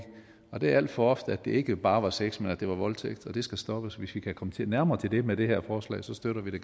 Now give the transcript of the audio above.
og det er alt for ofte at det ikke bare var sex men at det var voldtægt og det skal stoppes hvis vi kan komme nærmere til det med det her forslag støtter vi